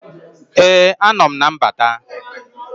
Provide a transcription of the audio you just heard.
Ee anọ m na mbata